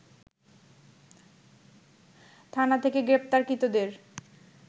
থানা থেকে গ্রেপ্তারকৃতদের